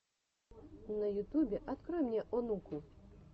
на ютубе открой мне онуку